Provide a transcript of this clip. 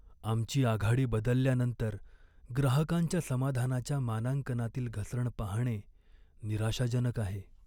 आमची आघाडी बदलल्यानंतर ग्राहकांच्या समाधानाच्या मानांकनातील घसरण पाहणे निराशाजनक आहे.